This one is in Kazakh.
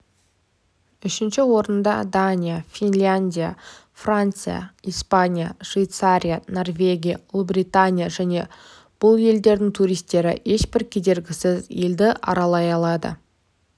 үшінші орында дания финляндия франция испания швейцария норвегия ұлыбритания және тұр бұл елдердің туристері ешбір кедергісіз елді аралай алады